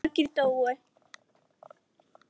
Margir dóu.